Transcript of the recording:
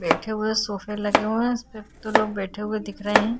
बैठे हुए सोफे लगे हुए हैं। इसपे दो लोग बैठे हुए दिख रहे हैं।